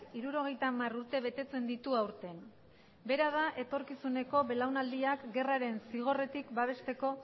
hirurogeita hamar urte betetzen ditu aurten bera da etorkizuneko belaunaldiak gerraren zigorretik babesteko